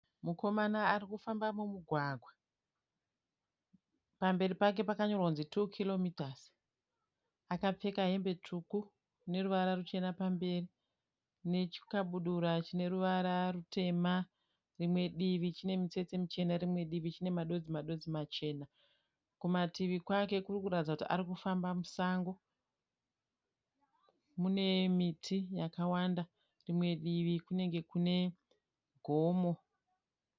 Mukomana ari kufamba mumugwagwa. Pamberi pake pakanyorwa kunzi tuu kiromitazi. Akapfeka hembe tsvuku ine ruvara ruchena pamberi nechikabudura chine ruvara rutema, rimwe divi chine mutsetse muchena, rimwe chine madonzi-madonzi machena. Kumativi kwake kuri kuratidza kuti ari kufamba musango. Mune miti yakawanda, rimwe divi kunenge kune gomo.